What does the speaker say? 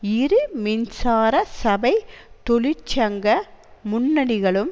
இரு மின்சார சபை தொழிற்சங்க முன்னணிகளும்